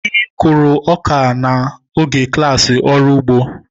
Anyị kụrụ ọka n'oge klassị ọrụ igbo